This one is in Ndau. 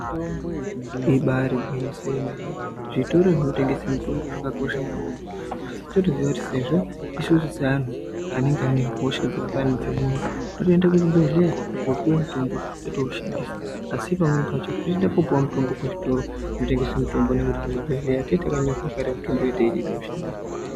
"Ibaari gwinyiso yemene!" Zvitoro zvinotengesa mitombo zvakakosha maningi, asi totoziya kuti sezvo isusu seantu anenge ane hosha dzakafanana nedze mwoyo totoenda kuzvibhadhlera kopuwe mitombo totoushandisa asi pamweni pacho totoende kopuwa mutombo kuzvitoro zvinotengese mitombo nekuti kuzvibhadhlera tinenge takanyorerwa kare mitombo yatinenge teifane kushandisa